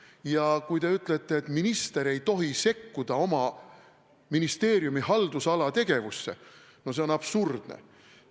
Ja kui te ütlete, et minister ei tohi sekkuda oma ministeeriumi haldusala tegevusse, siis see on absurdne.